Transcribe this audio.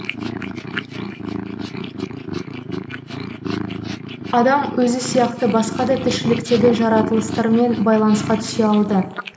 адам өзі сияқты басқа да тіршіліктегі жаратылыстармен байланысқа түсе алды